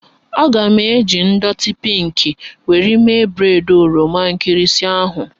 A ga m eji ndọtị pinkị were mee breịd oroma nkịrịsị ahụ